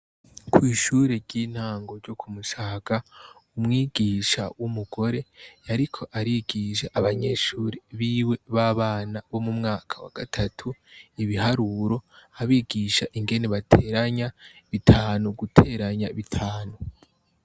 Ko'ishuri ry'intangu ryo kumushaka umwigisha w'umugore yariko arigisha abanyeshuri biwe b'abana bo mu mwaka wa gatatu ibiharuro abigisha ingeni bateranya bitanu guteranya bitanu.